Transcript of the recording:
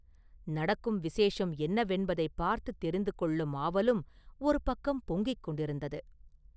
நடக்கும் விசேஷம் என்னவென்பதைப் பார்த்துத் தெரிந்து கொள்ளும் ஆவலும் ஒருபக்கம் பொங்கிக் கொண்டிருந்தது.